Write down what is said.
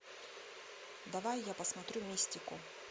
давай я посмотрю мистику